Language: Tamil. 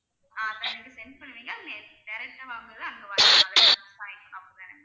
ஆஹ் அத எனக்கு send பண்ணுவீங்களா direct ஆ வாங்கும்போது அங்க வாங்கணும் அப்படித்தானா ma'am